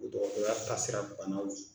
O dɔgɔtɔrɔya taasira ɲɔgɔnnaw ye.